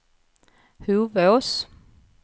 Hovås